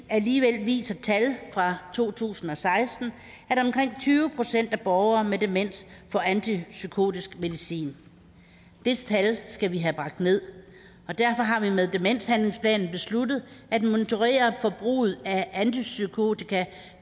alligevel viser tal fra to tusind og seksten at omkring tyve procent af borgere med demens får antipsykotisk medicin det tal skal vi have bragt ned og derfor har vi med demenshandlingsplanen besluttet at monitorere forbruget af antipsykotika